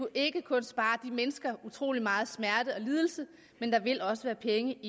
ikke kun spare mennesker utrolig meget smerte og lidelse men der vil også være penge